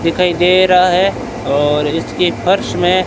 दिखाई दे रहा है और इसके फर्श में--